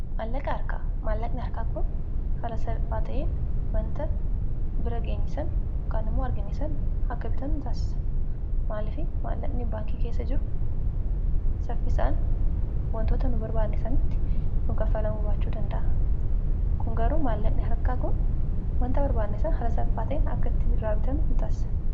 maallaqi harka maallaqni harkaa kun hala salpaata'iin wanta bira geenyisan mukaanimoo argaenisan hakka bitanuu hin taassa maalifi maallaqni baankii keessa jiru saffisaan wantoota nu barbaannesanitti nukaffalamu baachuu danda'a kun garuu maallaqni harkaa kun wanta barbaannesan ala salphaata'iin akkaitti iraabitanuu hin taassa